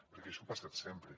perquè això ha passat sempre